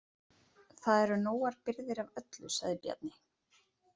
Það eru nógar birgðir af öllu, sagði Bjarni.